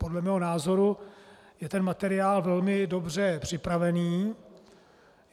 Podle mého názoru je ten materiál velmi dobře připravený.